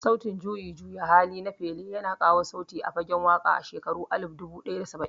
Sautin juyin juya hali na Fela Kuti ya kawo sauyi a fagen waƙa a shekaru alif dubu ɗaya da saba'in